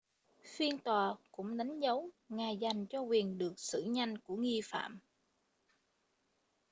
phiên tòa cũng đánh dấu ngày dành cho quyền được xử nhanh của nghi phạm